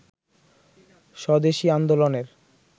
স্বদেশি আন্দোলনের